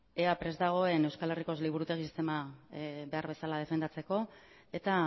ea prest dagoen euskal herriko liburutegi sistema behar bezala defendatzeko eta